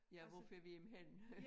Ja hvor fører vi dem hen